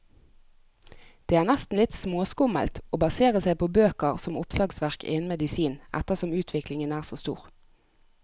Det er nesten litt småskummelt å basere seg på bøker som oppslagsverk innen medisin, ettersom utviklingen er så stor.